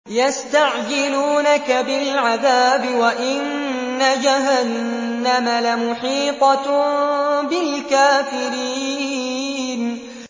يَسْتَعْجِلُونَكَ بِالْعَذَابِ وَإِنَّ جَهَنَّمَ لَمُحِيطَةٌ بِالْكَافِرِينَ